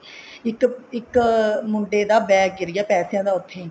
ਇੱਕ ਇੱਕ ਮੁੰਡੇ ਦਾ bag ਗਿਰ ਗਿਆ ਪੈਸਿਆਂ ਦਾ ਉੱਥੇ